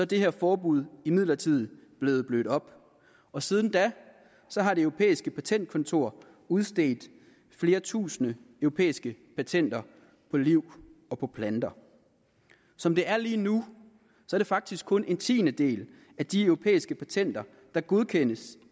det her forbud imidlertid blevet blødt op og siden da har det europæiske patentkontor udstedt flere tusinde europæiske patenter på liv og på planter som det er lige nu er det faktisk kun en tiendedel af de europæiske patenter der godkendes